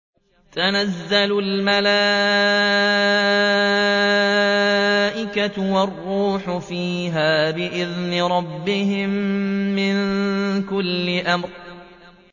تَنَزَّلُ الْمَلَائِكَةُ وَالرُّوحُ فِيهَا بِإِذْنِ رَبِّهِم مِّن كُلِّ أَمْرٍ